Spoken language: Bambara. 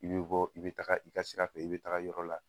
I bi bɔ i bɛ taga i ka sira fɛ, i bɛ taga yɔrɔ la